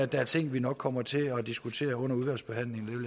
der er ting vi nok kommer til at diskutere under udvalgsbehandlingen